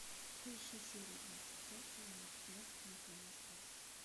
поищи серию двадцать пять сезона пятнадцать анатомия страсти